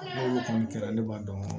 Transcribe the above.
N'olu kɔni kɛra ne b'a dɔn